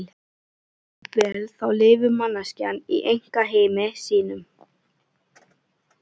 Jafnvel þá lifir manneskjan í einkaheimi sínum.